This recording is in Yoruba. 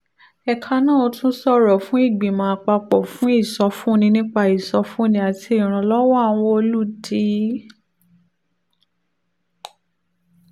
ẹ̀ka náà tún sọ̀rọ̀ náà fún ìgbìmọ̀ àpapọ̀ fún ìsọfúnni nípa ìsọfúnni àti ìrànlọ́wọ́ àwọn olùdi